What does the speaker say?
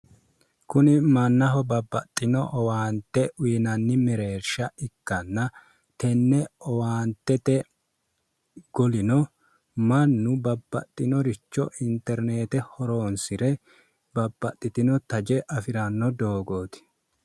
kuni mannaho babbaxxino owaante uyiinanni mereersha ikkanna teenne owaantete kunino mannu babbaxxitino interineete horonsire babbaxxitino taje afiranno dogooti